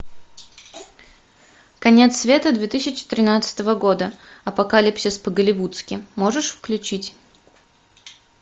конец света две тысячи тринадцатого года апокалипсис по голливудски можешь включить